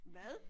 Hvad?